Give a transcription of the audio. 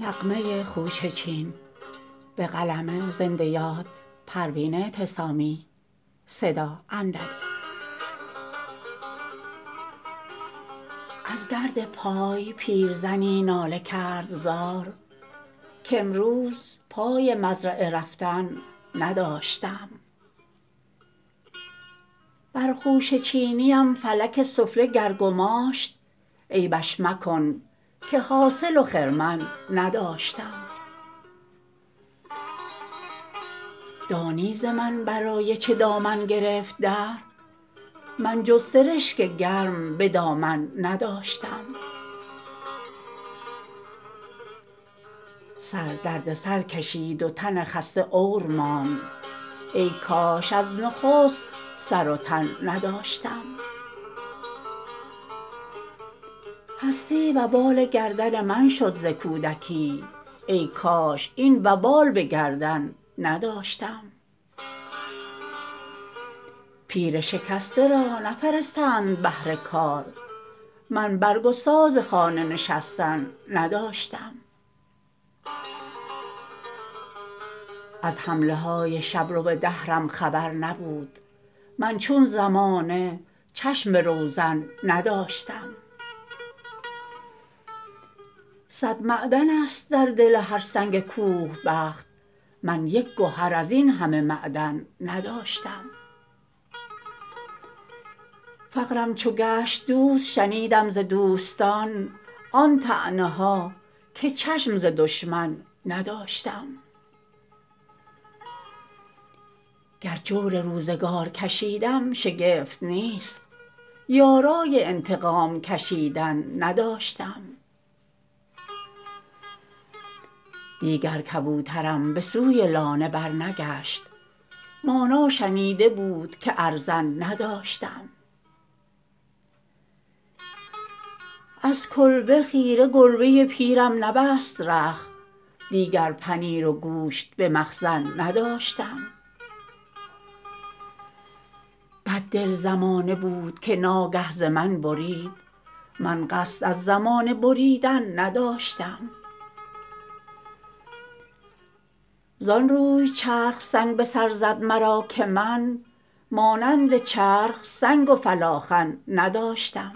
از درد پای پیرزنی ناله کرد زار کامروز پای مزرعه رفتن نداشتم برخوشه چینیم فلک سفله گر گماشت عیبش مکن که حاصل و خرمن نداشتم دانی ز من برای چه دامن گرفت دهر من جز سرشک گرم بدامن نداشتم سر درد سر کشید و تن خسته عور ماند ایکاش از نخست سر و تن نداشتم هستی وبال گردن من شد ز کودکی ایکاش این وبال بگردن نداشتم پیر شکسته را نفرستند بهر کار من برگ و ساز خانه نشستن نداشتم از حمله های شبرو دهرم خبر نبود من چون زمانه چشم به روزن نداشتم صد معدن است در دل هر سنگ کوه بخت من یک گهر از این همه معدن نداشتم فقرم چو گشت دوست شنیدم ز دوستان آن طعنه ها که چشم ز دشمن نداشتم گر جور روزگار کشیدم شگفت نیست یارای انتقام کشیدن نداشتم دیگر کبوترم بسوی لانه برنگشت مانا شنیده بود که ارزن نداشتم از کلبه خیره گربه پیرم نبست رخت دیگر پنیر و گوشت به مخزن نداشتم بد دل زمانه بود که ناگه ز من برید من قصد از زمانه بریدن نداشتم زانروی چرخ سنگ بسر زد مرا که من مانند چرخ سنگ و فلاخن نداشتم